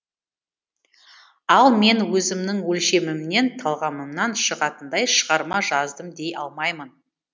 ал мен өзімнің өлшемімнен талғамымнан шығатындай шығарма жаздым дей алмаймын